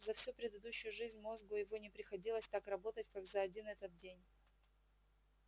за всю предыдущую жизнь мозгу его не приходилось так работать как за один этот день